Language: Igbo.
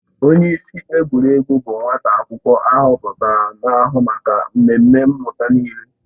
Onyeisi egwuregwu bụ nwa akwụkwọ ahọpụtara na-ahụ maka mmemme mmụta niile